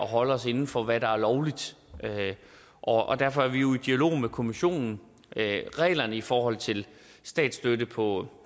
holde os inden for hvad der er lovligt og derfor er vi jo i dialog med kommissionen reglerne i forhold til statsstøtte på